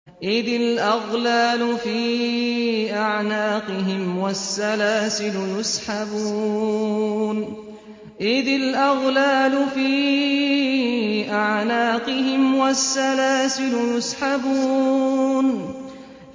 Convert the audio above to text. إِذِ الْأَغْلَالُ فِي أَعْنَاقِهِمْ وَالسَّلَاسِلُ يُسْحَبُونَ